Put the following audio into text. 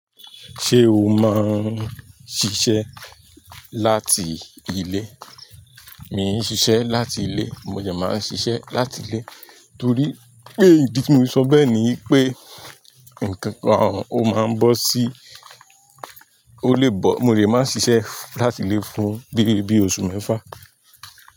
Ṣé o máa ń ṣiṣẹ́ láti ilé? Mi ń ṣiṣẹ́ láti ilé, mo le máa ń ṣiṣẹ́ láti ilé torí pé ìdí tí mo ṣọ bẹ́ẹ̀ ni wipé ǹnkan kan ò máa ń bọ́ sí, ó lè bọ̀, mo lè máa ń ṣiṣẹ́ láti ilé fún bí i, bí i oṣù mẹ́fà.